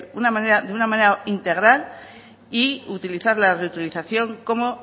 una manera integral y utilizar la reutilización como